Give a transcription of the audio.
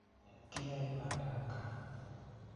Kiyae bandab kaa